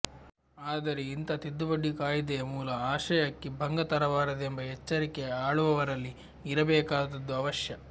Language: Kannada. ಆದರೆ ಇಂಥ ತಿದ್ದುಪಡಿ ಕಾಯಿದೆಯ ಮೂಲ ಆಶಯಕ್ಕೆ ಭಂಗ ತರಬಾರದೆಂಬ ಎಚ್ಚರಿಕೆ ಆಳುವವರಲ್ಲಿ ಇರಬೇಕಾದದ್ದು ಅವಶ್ಯ